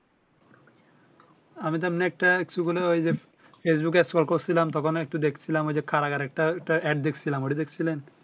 আমি তো এমনেই একটা Facebook scroll করছিলাম তখন একটু দেখছিলাম ঐ যে কারাগারের টা একটা AD দেখছিলাম ওইটি দেখছিলেন